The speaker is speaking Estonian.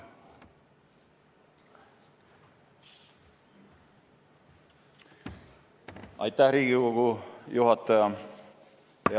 Aitäh, Riigikogu juhataja!